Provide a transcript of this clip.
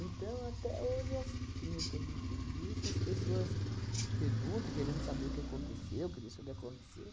até hoje, as que nem eu estou di disse as pessoas perguntam, querendo saber o que aconteceu, o que deixou de acontecer,